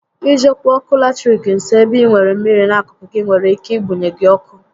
I jekwu ọkụ latiriki nso ébé ị nwèrè mmịrị n'akụkụ gị nwere ike ị munye gị ọkụ